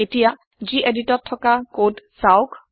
এতিয়া geditটত থকা কদ চাওঁক